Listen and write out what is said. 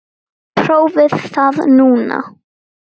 Prófið það núna.